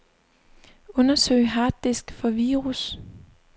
Undersøg harddisk for virus.